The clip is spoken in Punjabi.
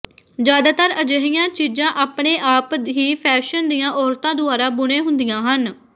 ਜਿਆਦਾਤਰ ਅਜਿਹੀਆਂ ਚੀਜ਼ਾਂ ਆਪਣੇ ਆਪ ਹੀ ਫੈਸ਼ਨ ਦੀਆਂ ਔਰਤਾਂ ਦੁਆਰਾ ਬੁਣੇ ਹੁੰਦੀਆਂ ਹਨ